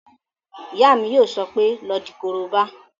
Ìyá mi yóò sọ pé "lọ di korobá!"